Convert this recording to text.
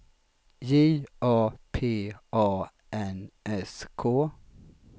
J A P A N S K